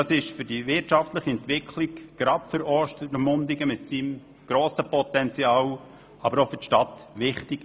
Für die wirtschaftliche Entwicklung, gerade für Ostermundigen mit seinem grossen Potenzial, aber auch für die Stadt, ist dies wichtig.